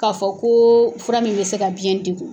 K'a fɔ ko fura min bɛ se ka biyɛn degun.